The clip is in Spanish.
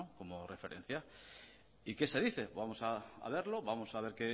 como referencia y qué se dice vamos a verlo vamos a ver